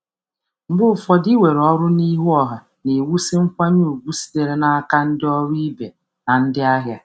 Mgbe ụfọdụ, ịnakwere ọrụ n’ezoghị ọnụ na-ewusi nkwanye ùgwù site n’aka ndị ọrụ ibe na ndị na ndị ahịa.